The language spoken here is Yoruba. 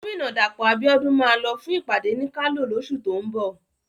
Gómìnà Dàpọ̀ Abíọ́dún máa lọ fún ìpàdé ní Kano lóṣù tó ń bọ̀.